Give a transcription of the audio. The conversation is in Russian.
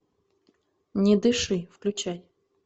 не дыши включай